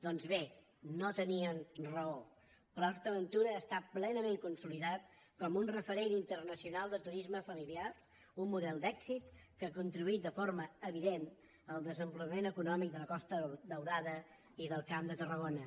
doncs bé no tenien raó port aventura està plenament consolidat com un referent internacional de turisme familiar un model d’èxit que ha contribuït de forma evident al desenvolupament econòmic de la costa daurada i del camp de tarragona